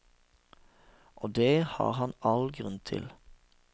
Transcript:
Og det har han all grunn til.